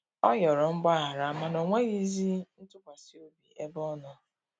Ọ yọrọ mgbahara mana onwegizi ntụkwasi obi ebe ọnọ.